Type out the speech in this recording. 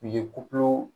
U ye kukulu